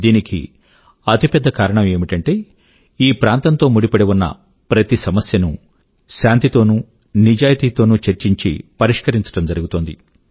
దీనికి అతి పెద్ద కారణం ఏమిటంటే ఈ ప్రాంతం తో ముడిపడి ఉన్న ప్రతి సమస్యనూ శాంతి తోనూ నిజాయితీ తోనూ చర్చించి పరిష్కరించడం జరిగితుంది